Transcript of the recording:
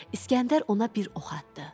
İsgəndər ona bir ox atdı.